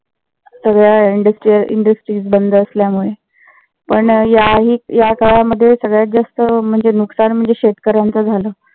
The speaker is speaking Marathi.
सगळ्या industries बंद असल्यामुले. पण याही या काळामध्ये सगळ्यात जास्त म्हणजे नुकसान म्हणजे शेतकऱ्याच झालं